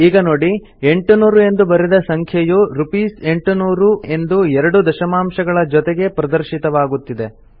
ಈಗ ನೋಡಿ 800 ಎಂದು ಬರೆದ ಸಂಖ್ಯೆಯು ರ್ಸ್80000 ಎಂದು 2 ದಶಮಾಂಶಗಳ ಜೊತೆಗೆ ಪ್ರದರ್ಶಿತವಾಗುತ್ತಿದೆ